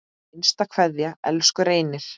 HINSTA KVEÐJA Elsku Reynir.